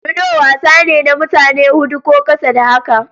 Ludo wasa ne na mutane hudu ko ƙasa da haka.